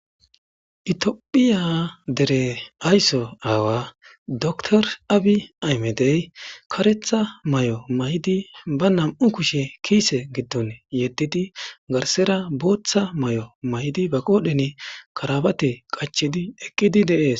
Itiophiya dere aysso aawa dokor abi aymedey karetha may'o maydi ba nam'u kushe kiise giddon yeddidi garsera booththa may'o maydi ba qoodhen karabate qachidi eqqidi deees.